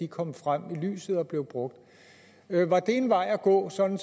kom frem i lyset og blev brugt var det en vej at gå sådan